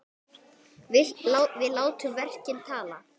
Við látum verkin tala!